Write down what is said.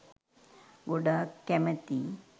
ගොඩක් කැමතියි